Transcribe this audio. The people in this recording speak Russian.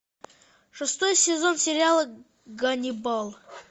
шестой сезон сериала ганнибал